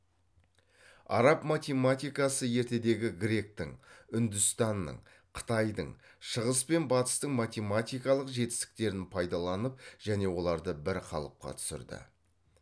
араб математикасы ертедегі гректің үндістанның қытайдың шығыс пен батыстың математикалық жетістіктерін пайдаланып және оларды бір қалыпқа түсірді